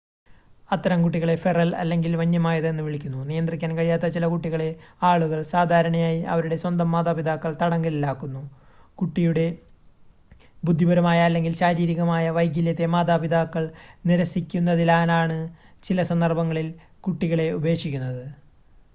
"അത്തരം കുട്ടികളെ "ഫെറൽ" അല്ലെങ്കിൽ വന്യമായത് എന്ന് വിളിക്കുന്നു. നിയന്ത്രിക്കാൻ കഴിയാത്ത ചില കുട്ടികളെ ആളുകൾ സാധാരണയായി അവരുടെ സ്വന്തം മാതാപിതാക്കൾ തടങ്കലിലാക്കുന്നു; കുട്ടിയുടെ ബുദ്ധിപരമായ അല്ലെങ്കിൽ ശാരീരികമായ വൈകല്യത്തെ മാതാപിതാക്കൾ നിരസിക്കുന്നതിനാലാണ് ചില സന്ദർഭങ്ങളിൽ കുട്ടികളെ ഉപേക്ഷിക്കുന്നത്.